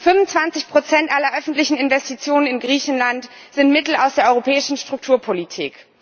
25 aller öffentlichen Investitionen in Griechenland sind Mittel aus der europäischen Strukturpolitik.